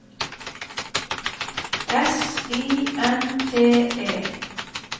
S I N T E